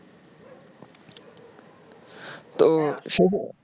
ও